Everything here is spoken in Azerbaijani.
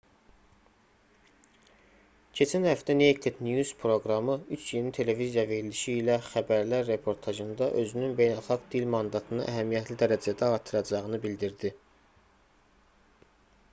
keçən həftə naked news proqramı üç yeni televiziya verilişi ilə xəbərlər reportajında özünün beynəlxalq dil mandatını əhəmiyyətli dərəcədə artıracağını bildirdi